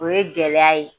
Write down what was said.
O ye gɛlɛya ye